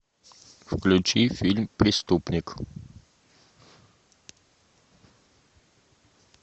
включи фильм преступник